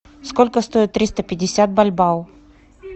сколько стоит триста пятьдесят бальбао